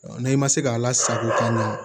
n'i ma se ka ala sago k'a ɲɛ